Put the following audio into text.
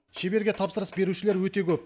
шеберге тапсырыс берушілер өте көп